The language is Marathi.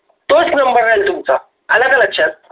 तोच number राहील तुमचा आलं का लक्षात.